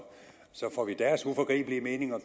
så får vi deres uforgribelige mening at